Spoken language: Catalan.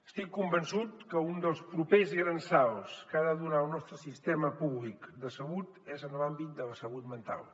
estic convençut que un dels propers grans salts que ha de donar el nostre sistema públic de salut és en l’àmbit de la salut mental